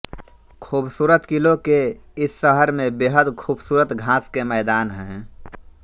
खूबसूरत किलों के इस शहर में बेहद खूबसूरत घास के मैदान हैं